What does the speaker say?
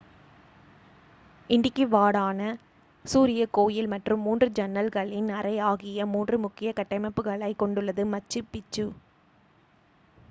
Intihuatana சூரிய கோயில் மற்றும் மூன்று ஜன்னல்களின் அறை ஆகிய மூன்று முக்கிய கட்டமைப்புகளைக் கொண்டுள்ளது மச்சு பிச்சு